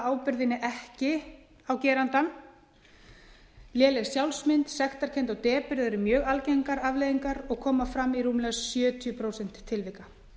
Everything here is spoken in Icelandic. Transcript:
ábyrgðinni ekki á gerandann léleg sjálfsmynd sektarkennd og depurð eru mjög algengar afleiðingar og koma fram í rúmlega sjötíu prósent tilvika